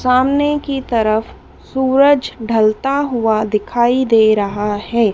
सामने की तरफ सूरज ढलता हुआ दिखाई दे रहा है।